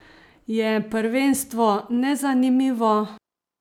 Je prvenstvo nezanimivo?